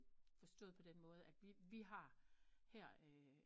Forstået på den måde at vi har her